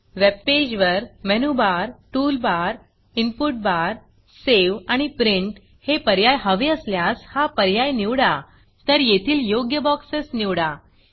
वेबपेजवर menu barमेनु bar tool barटूल bar input barइनपुट बार Saveसेव आणि Printप्रिंट हे पर्याय हवे असल्यास हा पर्याय निवडातर येथील योग्य बॉक्सस निवडा